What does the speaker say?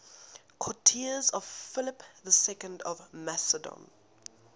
courtiers of philip ii of macedon